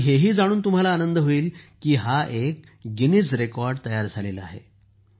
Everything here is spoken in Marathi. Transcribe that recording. आणि हे ही जाणून तुम्हाला आनंद होईल की हा एक गिनीज रेकॉर्ड तयार झाला आहे